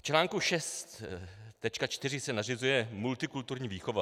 V článku 6.4 se nařizuje multikulturní výchova.